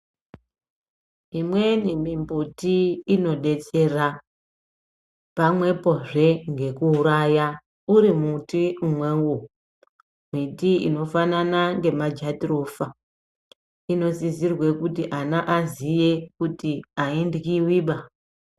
Imweni mimbuti inodetsera pamwepozve ngekuuraya uri muti umwewo. Miti inofanana ngemajatirofa inosise kuti ana aziye kuti airyiwiba.